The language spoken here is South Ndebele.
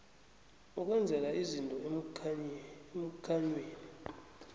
ukwenzela izinto emkhanyweni